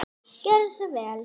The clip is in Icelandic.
Gjörðu svo vel.